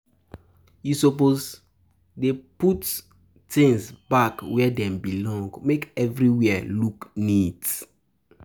You suppose dey put suppose dey put tins back where dem belong, make everywhere look neat.